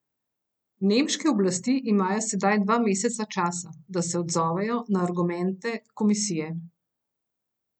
Nemške oblasti imajo sedaj dva meseca časa, da se odzovejo na argumente komisije.